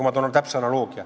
Ma toon täpse analoogia.